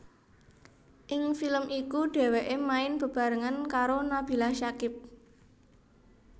Ing film iku dheweke main bebarengan karo Nabila Syakib